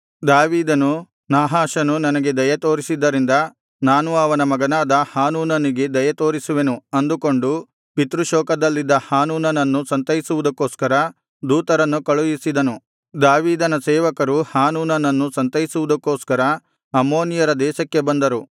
ದಾವೀದನು ನಾಹಾಷನು ನನಗೆ ದಯೆತೋರಿಸಿದ್ದರಿಂದ ನಾನೂ ಅವನ ಮಗನಾದ ಹಾನೂನನಿಗೆ ದಯೆತೋರಿಸುವೆನು ಅಂದುಕೊಂಡು ಪಿತೃಶೋಕದಲ್ಲಿದ್ದ ಹಾನೂನನನ್ನು ಸಂತೈಸುವುದಕ್ಕೋಸ್ಕರ ದೂತರನ್ನು ಕಳುಹಿಸಿದನು ದಾವೀದನ ಸೇವಕರು ಹಾನೂನನನ್ನು ಸಂತೈಸುವುದಕ್ಕೋಸ್ಕರ ಅಮ್ಮೋನಿಯರ ದೇಶಕ್ಕೆ ಬಂದರು